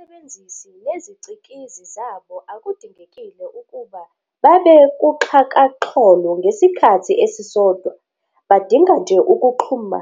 Abasebenzisi nezicikizi zabo akudingekile ukuba babekuxhakaxholo ngesikhathi esisodwa, badinga nje ukuxhuma,